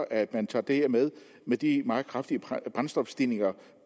at man tager det her med med de meget kraftige brændstofstigninger